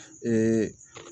Ee